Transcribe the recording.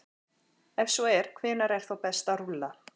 Ef svo er, hvenær er þá best að rúlla?